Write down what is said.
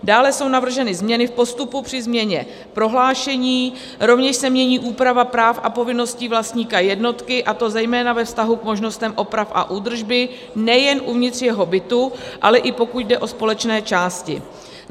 Dále jsou navrženy změny v postupu při změně prohlášení, rovněž se mění úprava práv a povinností vlastníka jednotky, a to zejména ve vztahu k možnostem oprav a údržby nejen uvnitř jeho bytu, ale i pokud jde o společné části.